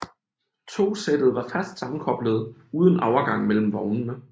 Togsættet var fast sammenkoblet uden overgang mellem vognene